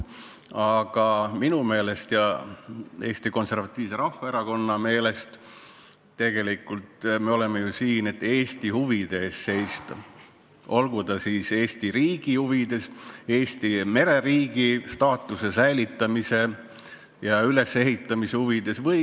Aga minu ja Eesti Konservatiivse Rahvaerakonna meelest me tegelikult oleme ju siin, et Eesti huvide eest seista ja teha seda Eesti kui mereriigi staatuse säilitamise ja ülesehitamise huvides.